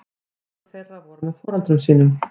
Nokkur þeirra voru með foreldrum sínum